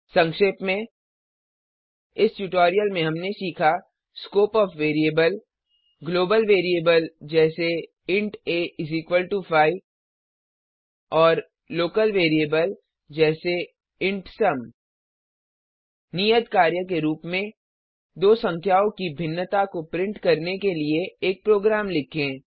संक्षेप में इस ट्यूटोरियल में हमने सीखा scope of variable global variable जैसे इंट a5 एएमपी और लोकल वेरिएबल जैसे इंट सुम नियत कार्य के रूप में दो संख्याओं की भिन्नता को प्रिंट करने के लिए एक प्रोग्राम लिखें